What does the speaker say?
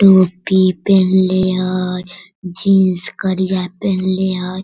टोपी पिन्हले हई जीन्स करिया पिंहले हई।